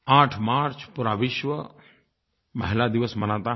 8 मार्च पूरा विश्व महिला दिवस मनाता है